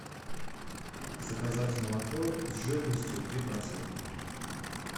заказать молоко с жирностью три процента